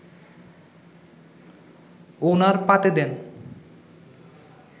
ওনার পাতে দেন